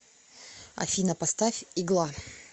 афина поставь игла